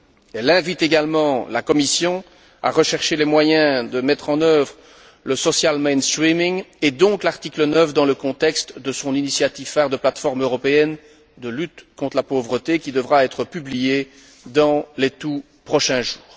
Elle invite également la Commission à rechercher les moyens de mettre en œuvre le social mainstreaming et donc l'article 9 dans le contexte de son initiative phare de plateforme européenne de lutte contre la pauvreté, qui devra être publiée dans les tout prochains jours.